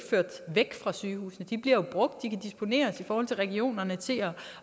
ført væk fra sygehusene de bliver jo brugt og de kan disponeres i forhold til regionerne til